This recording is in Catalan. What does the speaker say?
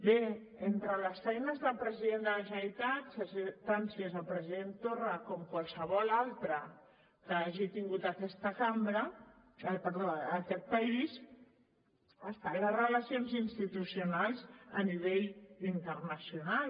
bé entre les feines del president de la generalitat tant si és el president torra com qualsevol altre que hagi tingut aquest país estan les relacions institucionals a nivell internacional